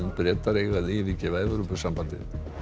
Bretar eiga að yfirgefa Evrópusambandið